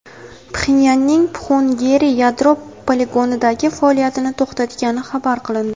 Pxenyanning Pxungeri yadro poligonidagi faoliyatini to‘xtatgani xabar qilindi.